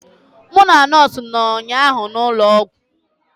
Mụ na nọọsụ nọ ụnyaahụ n'ụlọ ọgwụ.